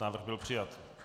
Návrh byl přijat.